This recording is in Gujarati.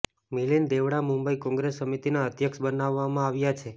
મિલિંદ દેવડા મુંબઈ કોંગ્રેસ સમિતિના અધ્યક્ષ બનાવવામાં આવ્યા છે